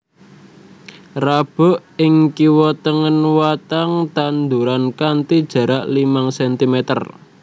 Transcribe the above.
Rabuk ing kiwa tengen watang tanduran kanthi jarak limang centimeter